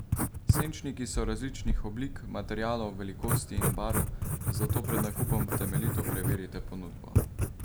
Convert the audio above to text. Senčniki so različnih oblik, materialov, velikosti in barv, zato pred nakupom temeljito preverite ponudbo.